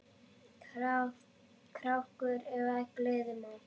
krákur eflaust gleðja má.